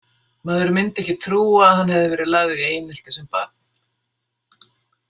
Maður myndi ekki trúa að hann hefði verið lagður í einelti sem barn.